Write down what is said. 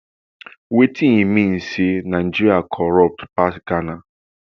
wetin e mean be say nigeria corrupt pass ghana